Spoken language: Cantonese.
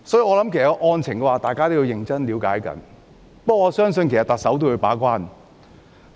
我認為大家必須了解案情，我相信特首亦會把關。